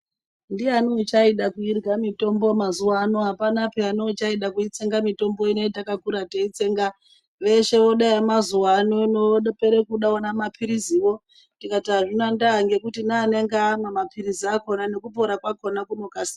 Ndiyani uchaida kuirya mitombo mazuwa ano, apana peya neuchada kuitsenga mitombo yatakakura teitsenga. Veshe vode yemazuwa anaa. Vopera kude ona maphiriziwo. Tikati azvina ndaa ngekuti neanenge amwa maphirizi akhona nekupona kwakhona vanokasira.